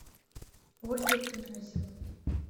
ольга князева